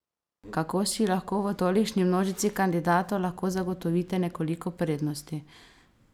Kako si lahko v tolikšni množici kandidatov lahko zagotovite nekoliko prednosti?